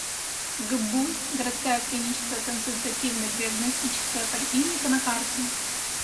гбуз городская клиническая консультативно диагностическая поликлиника на карте